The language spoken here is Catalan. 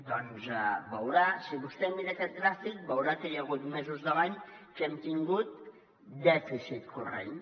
doncs si vostè mira aquest gràfic veurà que hi ha hagut mesos de l’any que hem tingut dèficit corrent